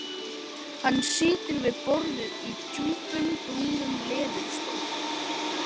Hann situr við borðið í djúpum brúnum leðurstól.